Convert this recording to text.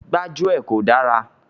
Gbájúẹ̀ kò dára.